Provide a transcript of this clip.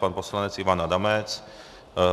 Pan poslanec Ivan Adamec.